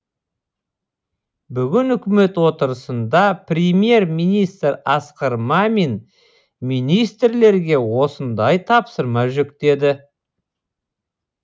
бүгін үкімет отырысында премьер министр асқар мамин министрлерге осындай тапсырма жүктеді